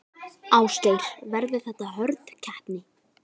Ásgeir: Verður þetta hörð keppni?